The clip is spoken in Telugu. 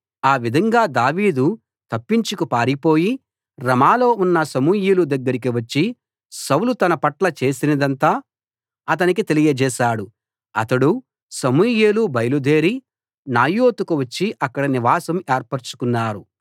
ఆ విధంగా దావీదు తప్పించుకు పారిపోయి రమాలో ఉన్న సమూయేలు దగ్గరికి వచ్చి సౌలు తనపట్ల చేసినదంతా అతనికి తెలియజేశాడు అతడూ సమూయేలూ బయలుదేరి నాయోతుకు వచ్చి అక్కడ నివాసం ఏర్పరచుకున్నారు